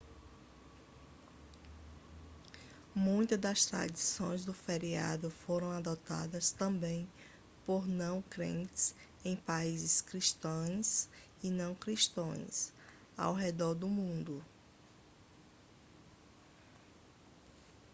muitas das tradições do feriado foram adotadas também por não crentes em países cristãos e não cristãos ao redor do mundo